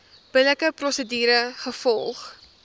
billike prosedure gevolg